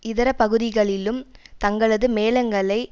இதர பகுதிகளிலும் தங்களது மேளங்களை